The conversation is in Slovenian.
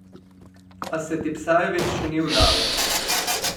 A se Tipsarevič še ni vdal.